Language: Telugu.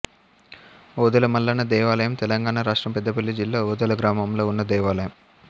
ఓదెల మల్లన్న దేవాలయం తెలంగాణ రాష్ట్రం పెద్దపల్లి జిల్లా ఓదెల గ్రామంలో ఉన్న దేవాలయం